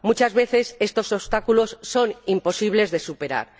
Muchas veces, estos obstáculos son imposibles de superar.